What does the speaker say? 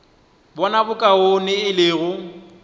bona bokaone e le go